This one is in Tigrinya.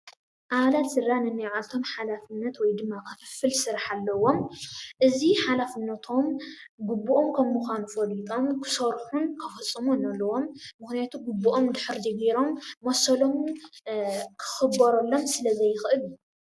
አባላት ስድራ ንንባዓልቶም ሓላፍነት ወይ ድማ ክፍፍል ስርሕ አለዎም። እዚ ሓላፍነቶም ግቡኦም ከም ምኳኑ ፈሊጦም ክሰርሑን ክፍፅሙን አለዎም። ምክንያቱ ግቡኦም እንድሕር ዘይገሮም መሰሎም ክክበረሎም ስለ ዘይክእል እዩ።